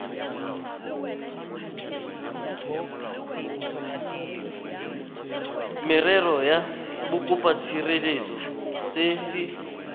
merero ya bokopatshireletso se se